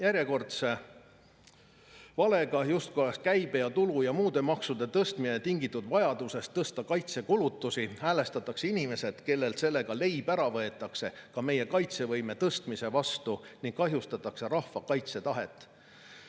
Järjekordse valega, justkui oleks käibe-, tulu- ja muude maksude tõstmine tingitud vajadusest tõsta kaitsekulutusi, häälestatakse inimesed, kellelt sellega leib ära võetakse, meie kaitsevõime tõstmise vastu ning kahjustatakse rahva kaitsetahet.